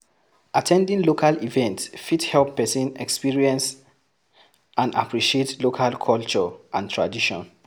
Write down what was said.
At ten ding local events fit help person experience and appreciate local culture and tradition